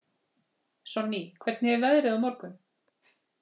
Sonný, hvernig er veðrið á morgun?